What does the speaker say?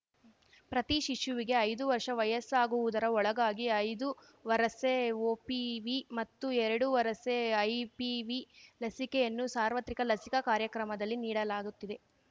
ಪ್ರತಿ ಶಿಶುವಿಗೆ ಐದು ವರ್ಷ ವಯಸ್ಸಾಗುವುದರ ಒಳಗಾಗಿ ಐದು ವರಸೆ ಒಪಿವಿ ಮತ್ತು ಎರಡು ವರಸೆ ಐಪಿವಿ ಲಸಿಕೆಯನ್ನು ಸಾರ್ವತ್ರಿಕ ಲಸಿಕಾ ಕಾರ್ಯಕ್ರಮದಲ್ಲಿ ನೀಡಲಾಗುತ್ತಿದೆ